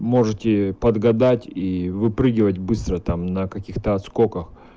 можете подгадать и выпрыгивать быстро там на каких-то сколько